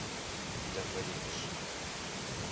de villiers